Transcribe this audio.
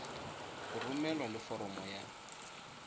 go romelwa le foromo ya